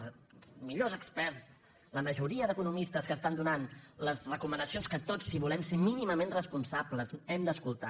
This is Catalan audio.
els millors experts la majoria d’economistes que estan donant les recomana·cions que tots si volem ser mínimament responsables hem d’escoltar